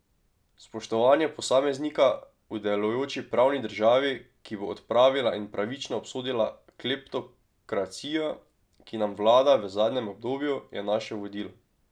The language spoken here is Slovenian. Spoštovanje posameznika v delujoči pravni državi, ki bo odpravila in pravično obsodila kleptokracijo, ki nam vlada v zadnjem obdobju, je naše vodilo.